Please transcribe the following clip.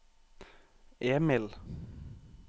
Emil